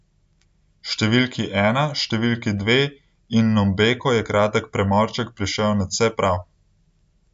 Številki ena, številki dve in Nombeko je kratek premorček prišel nadvse prav.